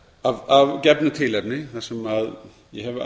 að gefnu tilefni þar sem ég hef